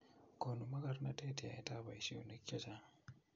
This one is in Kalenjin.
konu mokornatet yaetab boisionik che chang'